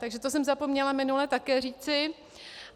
Takže to jsem zapomněla minule také říci.